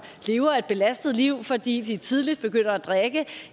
lever et belastet liv fordi de tidligt begynder at drikke